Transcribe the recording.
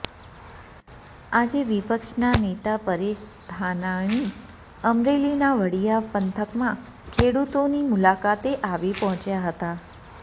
આજે વિપક્ષના નેતા પરેશ ધાનાણી અમરેલીના વડીયા પંથકમાં ખેડૂતોની મુલાકાતે આવી પહોંચ્યા હતા